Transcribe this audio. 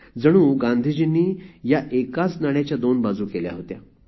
जणू गांधीजींनी ह्या एकाच नाण्याच्या दोन बाजू केल्या होत्या